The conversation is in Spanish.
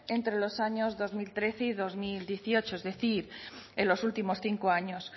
entre los años dos mil trece y dos mil dieciocho es decir en los últimos cinco años